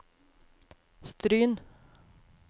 Stryn